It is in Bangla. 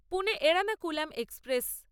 পুনে এড়নাকুলাম এক্সপ্রেস